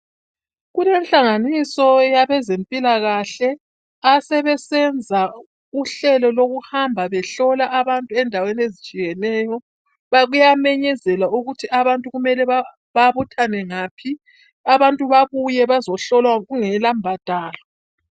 Kulenhlanganiso yabezempilakahle asebesenza uhlelo lokuhamba behlola abantu endaweni ezitshiyeneyo .Kuyamemezelwa ukuthi abantu kumele babuthane ngaphi abantu babuye bazohlolwa kungela mbadalo.